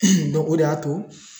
o de y'a to